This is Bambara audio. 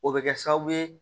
O bɛ kɛ sababu ye